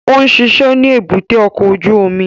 Ó ń ṣiṣẹ́ ní èbúté ọkọ̀ ojú omi